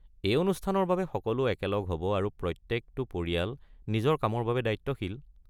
এই অনুষ্ঠানৰ বাবে সকলো একলগ হ'ব আৰু প্ৰত্যেকটো পৰিয়াল নিজৰ কামৰ বাবে দায়িত্বশীল।